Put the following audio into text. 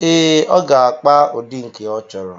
Ee, ọ ga-akpa ụdị nke ọ chọrọ.